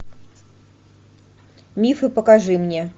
мифы покажи мне